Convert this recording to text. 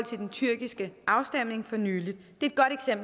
til den tyrkiske afstemning for nylig det